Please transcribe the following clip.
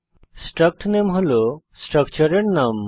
struct নামে হল স্ট্রাকচারের নাম